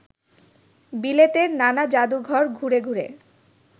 বিলেতের নানা জাদুঘর ঘুরে ঘুরে